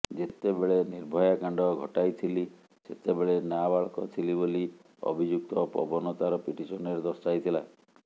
ଯେତେବେଳେ ନିର୍ଭୟା କାଣ୍ଡ ଘଟାଇଥିଲି ସେତେବେଳେ ନାବାଳକ ଥିଲି ବୋଲି ଅଭିଯୁକ୍ତ ପବନ ତାର ପିଟିସନରେ ଦର୍ଶାଇଥିଲା